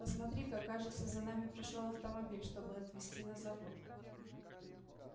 посмотри-ка кажется за нами пришёл автомобиль чтобы отвезти на завод